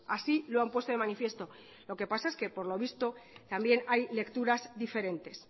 así lo han puesto de manifiesto lo que pasa es que por lo visto también hay lecturas diferentes